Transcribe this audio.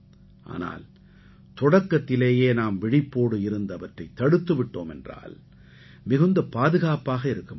ஆனால் தொடக்கத்திலேயே நாம் விழிப்போடு இருந்து அவற்றைத் தடுத்து விட்டோம் என்றால் மிகுந்த பாதுகாப்பாக இருக்க முடியும்